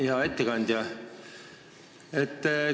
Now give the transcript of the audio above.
Hea ettekandja!